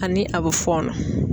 Ani a bɛ fɔɔnɔ.